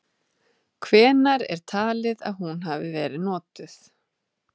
Hvenær er talið að hún hafi verið notuð?.